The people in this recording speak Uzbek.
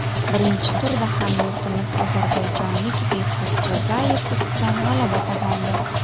Birinchi turda hamyurtimiz ozarbayjonlik Behruz Rizayev ustidan g‘alaba qozondi.